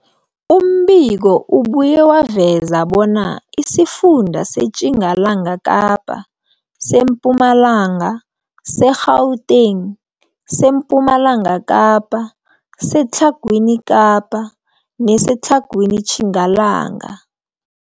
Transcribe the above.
Umbiko ubuye waveza bona isifunda seTjingalanga Kapa, seMpumalanga, seGauteng, sePumalanga Kapa, seTlhagwini Kapa neseTlhagwini Tjingalanga.